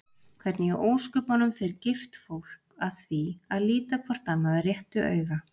Hvernig í ósköpunum fer gift fólk að því að líta hvort annað réttu auga?